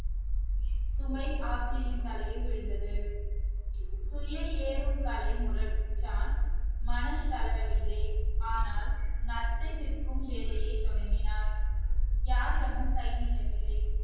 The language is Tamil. சுமை ஆப்ஜியின் தலையில் விழுந்தது மனம் தளரவில்லை ஆனால் நத்தை விற்கும் வேலையைத் தொடங்கினார் யாரிடமும் கை நீட்டவில்லை